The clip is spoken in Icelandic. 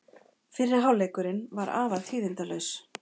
Fyrri hálfleikurinn var afar tíðindalítill.